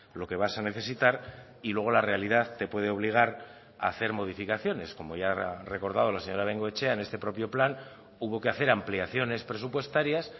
lo que vas a necesitar y luego la realidad te puede obligar a hacer modificaciones como ya ha recordado la señora bengoechea en este propio plan hubo que hacer ampliaciones presupuestarias